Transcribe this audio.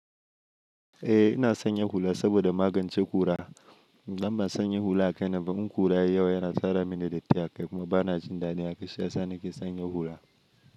Eh ina sanya hula saboda magance kura. Idan ban sanya hula akainaba in kura yayi yawa yana tara mini datti a akai, kuma bana jin dadin haka saisa nake sanya hula.